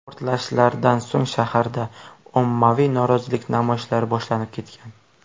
Portlashlardan so‘ng shaharda ommaviy norozilik namoyishlari boshlanib ketgan.